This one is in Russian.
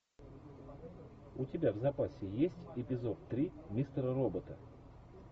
у тебя в запасе есть эпизод три мистера робота